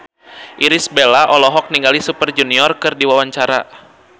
Irish Bella olohok ningali Super Junior keur diwawancara